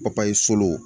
Papaye solo